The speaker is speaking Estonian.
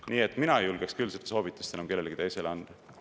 Nii et mina ei julgeks küll seda soovitust kellelegi teisele anda.